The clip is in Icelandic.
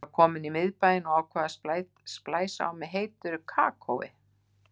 Ég var komin í miðbæinn og ákvað að splæsa á mig heitu kakói.